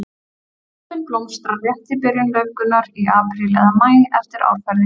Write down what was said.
Öspin blómstrar rétt í byrjun laufgunar, í apríl eða maí eftir árferði.